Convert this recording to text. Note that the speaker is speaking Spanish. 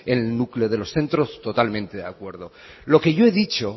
el núcleo de los centros totalmente de acuerdo lo que yo he dicho